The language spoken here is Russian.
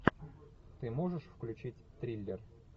ты можешь включить триллер